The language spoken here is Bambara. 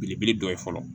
Belebele dɔ ye fɔlɔ